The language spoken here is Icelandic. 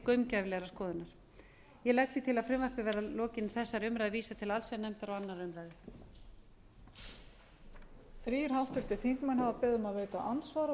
gaumgæfilegrar skoðunar ég legg því til að frumvarpið verði að lokinni þessari umræðu vísað til allsherjarnefndar og annarrar umræðu